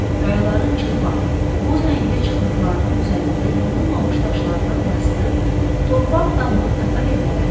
Qayaların çılpaq, boz rəngli çıxıntılarının üzərində yonulmamış daşlardan yastı, torpaq damlı tatar evləri.